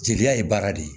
Jeli ye baara de ye